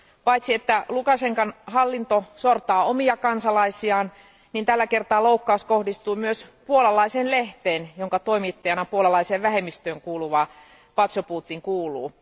Paitsi että Lukašenkan hallinto sortaa omia kansalaisiaan, tällä kertaa loukkaus kohdistuu myös puolalaiseen lehteen, jonka toimittajana puolalaiseen vähemmistöön kuuluva Poczobut toimii.